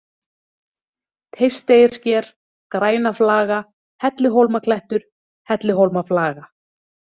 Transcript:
Teisteyjarsker, Grænaflaga, Helluhólmaklettur, Helluhólmaflaga